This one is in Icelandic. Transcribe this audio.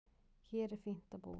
Hér er fínt að búa.